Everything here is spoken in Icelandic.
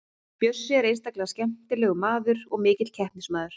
Bjössi er einstaklega skemmtilegur maður og mikill keppnismaður.